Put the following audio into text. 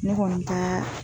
Ne kɔni taa